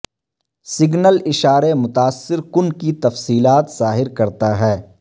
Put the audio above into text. signal اشارے متاثر کن کی تفصیلات ظاہر کرتا ہے